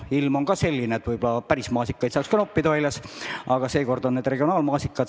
Ilm on küll selline, et võib-olla saaks ka päris maasikaid noppida, aga seekord on need regionaalmaasikad.